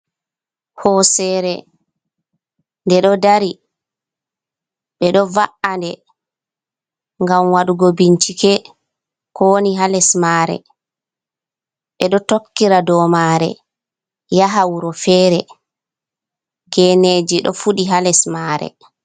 Hosere nde ɗo dari, ɓe ɗo va’ande ngam wadugo bincike ko woni ha les mare, ɓeɗo tokkira dow mare yaha wuro fere, geneji ɗo fuɗi ha les mare.